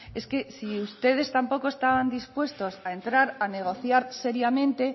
es que si ustedes tampoco estaban dispuestos a entrar a negociar seriamente